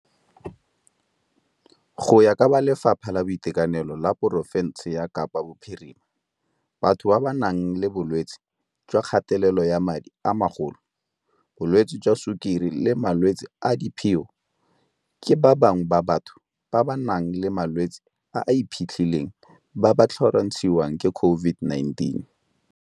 Go ya ka Lefapha la Boitekanelo la porofense ya Kapa Bophirima, batho ba ba nang le bolwetse jwa kgatelelo ya madi a magolo, bolwetse jwa sukiri le malwetse a diphio ke ba bangwe ba batho ba ba nang le malwetse a a iphitlhileng ba ba tlhorontshiwang ke COVID-19.